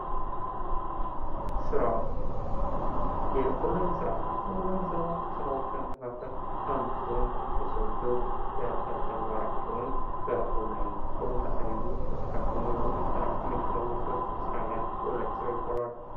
ስራ፤ የኦንላይን ስራ፦ የኦንላይን ስራ ከስራወች መካከል አንዱ ሲሆን የሰው ልጆች የእለት ከእለት ተግባራቸውን በኦንላይን በቦታው ሳይሄዱ በስልካቸው ወይም በኮምፒተራቸው የሚያከናውኑበት የስራ አይነት የኦንላይን ስራ ይባላል።